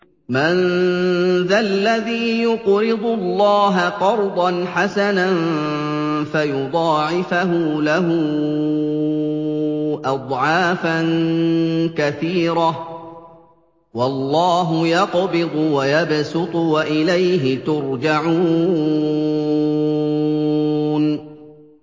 مَّن ذَا الَّذِي يُقْرِضُ اللَّهَ قَرْضًا حَسَنًا فَيُضَاعِفَهُ لَهُ أَضْعَافًا كَثِيرَةً ۚ وَاللَّهُ يَقْبِضُ وَيَبْسُطُ وَإِلَيْهِ تُرْجَعُونَ